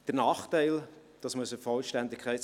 Der Nachteil der Lösung,